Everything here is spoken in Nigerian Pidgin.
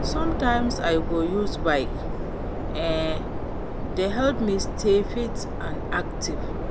Sometimes I go use bike; e dey help me stay fit and active.